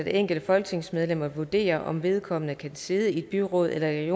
enkelte folketingsmedlem at vurdere om vedkommende kan sidde i et byråd eller et